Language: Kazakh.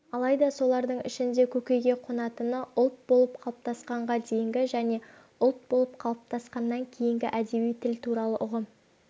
алайда солардың ішінде көкейге қонатыны ұлт болып қалыптасқанға дейінгі және ұлт болып қалыптасқаннан кейінгі әдеби тіл туралы ұғым